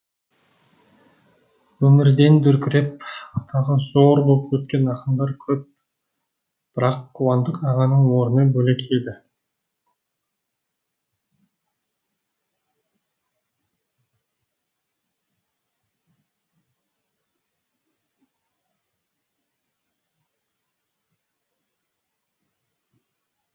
өмірден дүркіреп атағы зор боп өткен ақындар көп бірақ қуандық ағаның орны бөлек еді